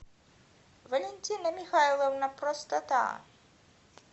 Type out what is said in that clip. валентина михайловна простота